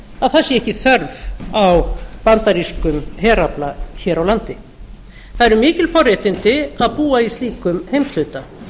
að það sé ekki þörf á bandarískum herafla hér á landi það eru mikil forréttindi að búa í slíkum heimshluta